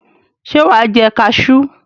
Ṣé wà á jẹ kaṣú?